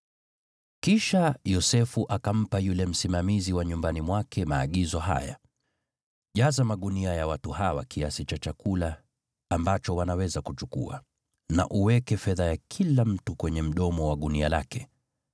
Kisha Yosefu akampa yule msimamizi wa nyumbani mwake maagizo haya: “Jaza magunia ya watu hawa kiasi cha chakula ambacho wanaweza kuchukua, na uweke fedha ya kila mtu kwenye mdomo wa gunia lake.